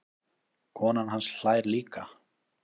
Konan hans hlær líka.